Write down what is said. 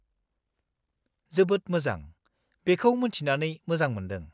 -जोबोद मोजां! बेखौ मोन्थिनानै मोजां मोन्दों।